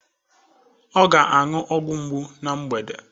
Ọ ga-aṅụ ọgwụ mgbu na mgbede